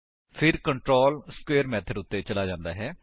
ਫਿਰ control square method ਉੱਤੇ ਚਲਾ ਜਾਂਦਾ ਹੈ